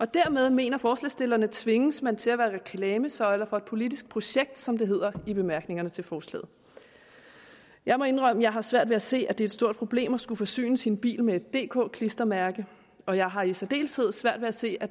dermed mener forslagsstillerne tvinges man til at være reklamesøjle for et politisk projekt som det hedder i bemærkningerne til forslaget jeg må indrømme at jeg har svært ved at se at det er et stort problem at skulle forsyne sin bil med et dk klistermærke og jeg har i særdeleshed svært ved at se at